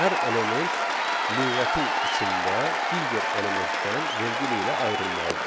Hər element lüğətin içində digər elementdən vergül ilə ayrılmalıdır.